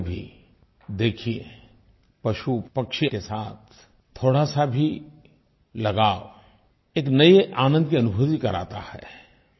आप भी कभी देखिये पशुपक्षी के साथ थोड़ा सा भी लगाव एक नये आनंद की अनुभूति कराता है